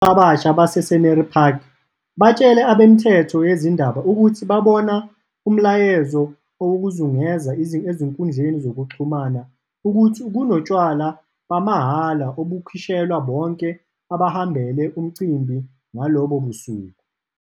Abasha base-Scenery Park batshele abemithombo yezindaba ukuthi babona umyalezo owawuzungeza ezinkundleni zokuxhumana, uthi kunotshwala bamahhala obukhishelwa bonke abahambele umcimbi ngalobo busuku.